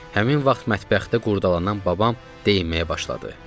Həmin vaxt mətbəxdə qurdalanan babam deyinməyə başladı.